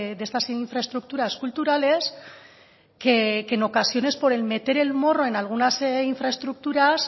de estas infraestructuras culturales que en ocasiones por el meter el morro en algunas infraestructuras